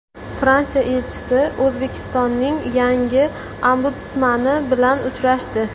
Fransiya elchisi O‘zbekistonning yangi ombudsmani bilan uchrashdi.